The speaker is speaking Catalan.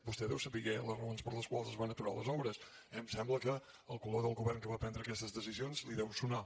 vostè deu saber les raons per les quals es van aturar les obres eh em sembla que el color del govern que va prendre aquestes decisions li deu sonar